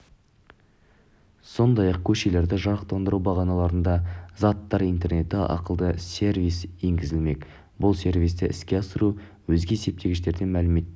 сондай-ақ көшелерді жарықтандыру бағаналарында заттар интернеті ақылды сервисі енгізілмек бұл сервисті іске асыру өзге есептегіштерден мәліметтер